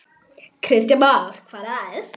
Kristján Már: Hvað næst?